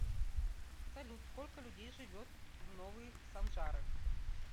салют сколько людей живет в новые санжары